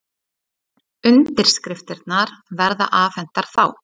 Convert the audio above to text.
Undirskriftirnar verða afhentar þá